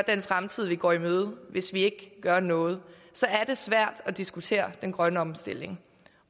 den fremtid vi går i møde hvis vi ikke gør noget så er det svært at diskutere den grønne omstilling